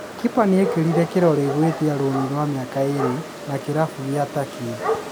Kipa nĩekĩrire kĩrore gwĩtia roani rwa miaka ĩĩrĩ na kĩrabu kĩa Turkey